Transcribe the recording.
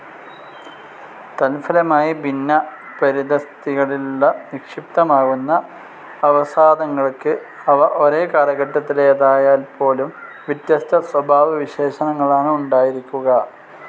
തത്ഫലമായി ഭിന്ന പരിതഃസ്ഥിതികളിൽ നിക്ഷിപ്തമാകുന്ന അവസാദങ്ങൾക്ക്, അവ ഒരേ കാലഘട്ടത്തിലേതായാൽപ്പോലും, വ്യത്യസ്ത സ്വഭാവവിശേഷങ്ങളാണ് ഉണ്ടായിരിക്കുക.